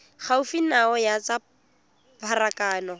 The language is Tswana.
gaufi nao ya tsa pharakano